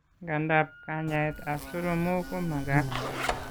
Ng'anda, kanyaet ab soromok ko magaat